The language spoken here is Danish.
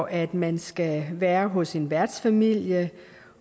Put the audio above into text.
at man skal være hos en værtsfamilie